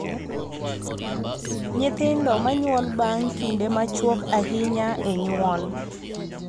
Nyithindo ma nyuol bang� kinde machuok ahinya e nyuol,